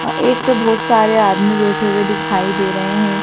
अ एक तो बहोत सारे आदमी बैठे हुए दिखाई दे रहे हैं।